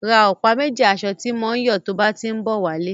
Ra ọ̀pá méjì asọ ti mọ ń yọ tó bá tí ń bọ̀ wá lé.